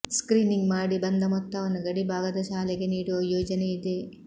screening ಮಾಡಿ ಬಂದ ಮೊತ್ತವನ್ನು ಗಡಿಭಾಗದ ಶಾಲೆಗೆ ನೀಡುವ ಯೋಜನೆ ಇದೆ